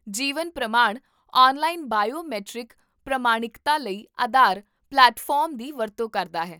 ਜੀਵਨ Pramaan online biometric ਪ੍ਰਮਾਣਿਕਤਾ ਲਈ Aadhaar platform ਦੀ ਵਰਤੋਂ ਕਰਦਾ ਹੈ